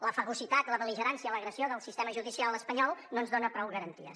la fagocitat la bel·ligerància l’agressió del sistema judicial espanyol no ens dona prou garanties